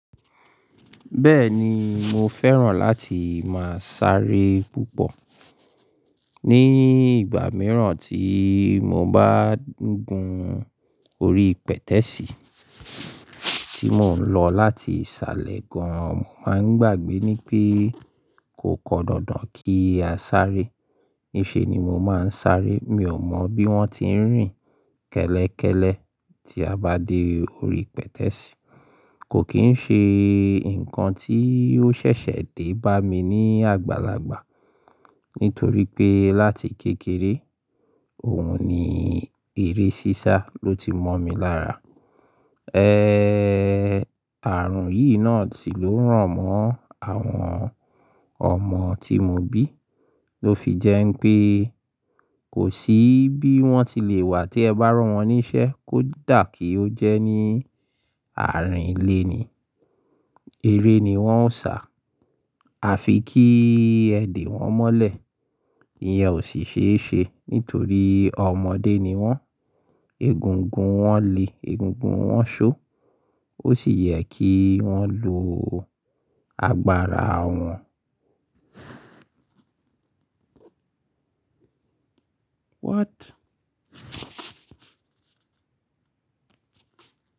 Bẹ́ẹ̀ni, mo fẹ́ràn láti máa sáré púpọ̀. Ni ìgbà mìíràn tí mo bá ń gun orí pẹ̀tẹ́ẹ̀sì tí mò ń lọ láti ìsàlẹ̀ gan, màá ń gbàgbé ní pé kò kọ́dọdọ̀ kí a sáré. Níṣe ni mo máa ń sáré. Mi ò mọ bí wọ́n ti ń rìn kẹ́lẹ́kẹ́lẹ́ tí a bá dé orí pẹ̀tẹ́ẹ̀sì. Kò kì í ṣe nǹkan tí yóò ṣẹ̀ṣẹ̀ dé bá mi ní àgbàlagbà. Nítorí pé láti kékeré, òun ni eré sísá ló ti mọ̀ mi lára. Ààrùn yìí náà sì ló rán mo àwọn ọmọ tí mo bí. Ó fi jẹ́ pé kò sí bí wọ́n ti lè wà tí ẹ bá rán wọn níṣẹ́ kó dà kí ó jẹ́ ní àárín ilé ni. Eré ni wọ́n ó ń ṣà. A fi kí ẹ̀dè wọn mọ́lẹ̀. Ìyẹn ò sì ṣe é ṣe nítorí ọmọdé ni wọ́n. Egungun wọn le egungun wọn ṣó. Ó sì yẹ kí wọ́n lo agbára wọn. What?